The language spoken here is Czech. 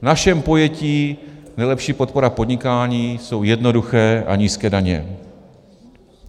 V našem pojetí nejlepší podpora podnikání jsou jednoduché a nízké daně.